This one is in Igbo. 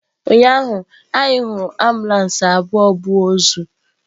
Ụnyahụ anyị hụrụ abụọ ambulances na ozu.